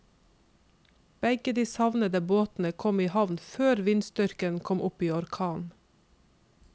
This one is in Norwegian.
Begge de savnede båtene kom i havn før vindstyrken kom opp i orkan.